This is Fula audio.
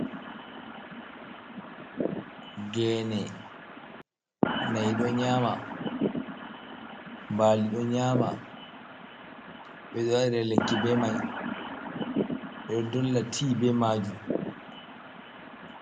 Gene, na'i ɗo nyama, bali ɗo nyama, ɓeɗo waɗira lekki be mai, ɓe ɗo ddolla ti be majum.